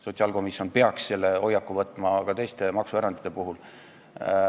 Sotsiaalkomisjon peaks selle hoiaku võtma ka teiste maksuerandite puhul.